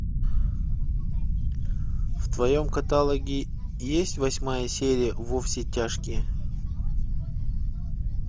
в твоем каталоге есть восьмая серия во все тяжкие